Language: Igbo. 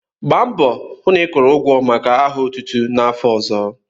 Gba mbọ hụ na ịkwụrụ ụgwọ maka aha otutu n'afọ ọzọ!